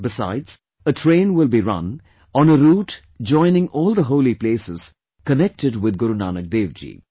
Besides, a train will be run on a route joining all the holy places connected with Guru Nanak Dev ji